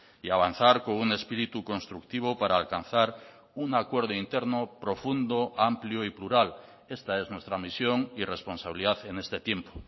y avanzar con un espíritu constructivo para alcanzar un acuerdo interno profundo amplio y plural esta es nuestra misión y responsabilidad en este tiempo